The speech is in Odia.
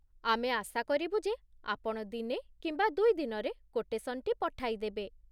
ଆମେ ଆଶା କରିବୁ ଯେ ଆପଣ ଦିନେ କିମ୍ବା ଦୁଇ ଦିନରେ କୋଟେସନ୍‌ଟି ପଠାଇଦେବେ।